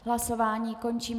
Hlasování končím.